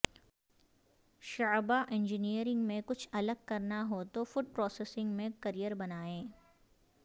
شعبہ انجینئرنگ میں کچھ الگ کرنا ہو توفوڈ پروسیسنگ میں کرئیر بنائیے